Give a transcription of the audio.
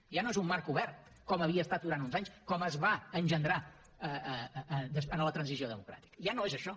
ja no és un marc obert com ho havia estat durant uns anys com es va engendrar en la transició democràtica ja no és això